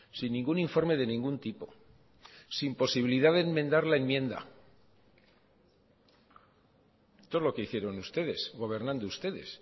sin ningún informe de ningún tipo sin posibilidad de enmendar la enmienda esto es lo que hicieron ustedes gobernando ustedes